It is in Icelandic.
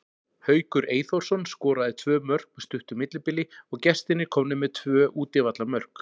Haukur Eyþórsson skoraði tvö mörk með stuttu millibili og gestirnir komnir með tvö útivallarmörk.